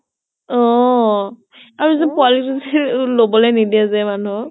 অ আৰু যে পোৱালী টোক লবলৈ নিদিয়ে যে মানুহক